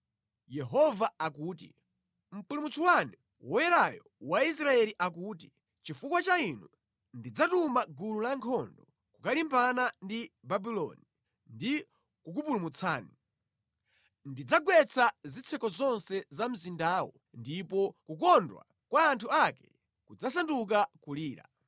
Yehova akuti, Mpulumutsi wanu, Woyerayo wa Israeli akuti, “Chifukwa cha inu ndidzatuma gulu lankhondo kukalimbana ndi Babuloni ndi kukupulumutsani. Ndidzagwetsa zitseko zonse za mzindawo, ndipo kukondwa kwa anthu ake kudzasanduka kulira.